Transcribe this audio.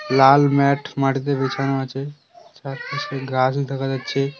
লাল mat মাটিতে বিছানো আছে চারপাশে গাছও দেখা যাচ্ছে।